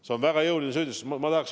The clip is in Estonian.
See on väga jõuline süüdistus!